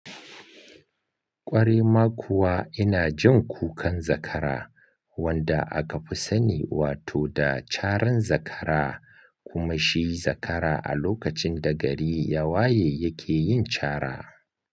Ƙware ma kuwa ina jin kukan zakara wanda aka fi sani wato da caran zakara kuma shi zakara a lokacin da gari yawaye yake yin cara.